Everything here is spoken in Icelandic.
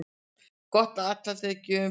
Gott atlæti er gjöfum betra.